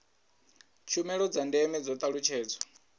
tshumelo dza ndeme dzo talutshedzwa